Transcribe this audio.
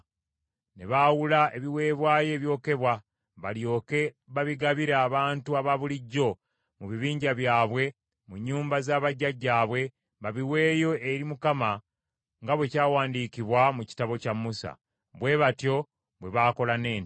Ne baawuula ebiweebwayo ebyokebwa balyoke babigabire abantu abaabulijjo mu bibinja byabwe mu nnyumba za bajjajjaabwe, babiweeyo eri Mukama , nga bwe kyawandiikibwa mu kitabo kya Musa. Bwe batyo bwe baakola n’ente.